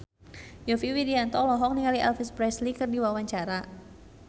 Yovie Widianto olohok ningali Elvis Presley keur diwawancara